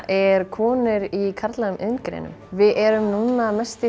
er konur í karllægum iðngreinum við erum núna mest